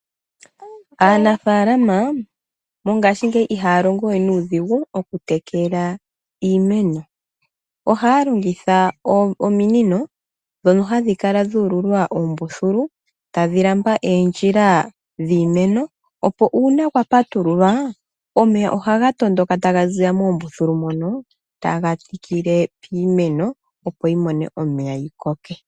Aanafaalama mongashingeyi iha ya longo we nuudhigu oku tekela iimeno, oha ya longitha ominino dhono hadhi kala dhu ululwa oombuthulu tadhilamba eendjila dhiimeno, opo uuna kwa patululwa omeya ohaga tondoka ta ga ziya moombuthulu mono ta ga tikile iimeno opo yi mone omeya yikoke.